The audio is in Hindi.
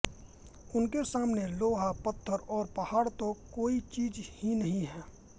उनके सामने लोहा पत्थर और पहाड़ तो कोई चीज़ ही नहीं है